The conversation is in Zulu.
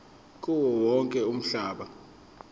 kuwo wonke umhlaba